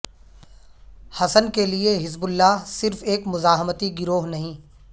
حسن کے لیے Hezbollah صرف ایک مزاحمتی گروہ نہیں